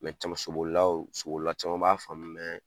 caman sobolilaw, sobolila caman b'a faamun